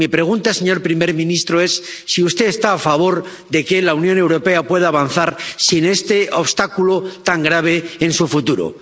Mi pregunta, señor primer ministro, es si usted está a favor de que la Unión Europea pueda avanzar sin este obstáculo tan grave en su futuro.